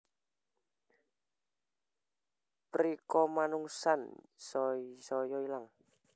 Prikamanungsan saya ilang